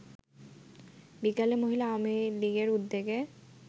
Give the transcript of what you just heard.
বিকালে মহিলা আওয়ামী লীগের উদ্যোগে